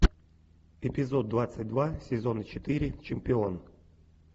эпизод двадцать два сезона четыре чемпион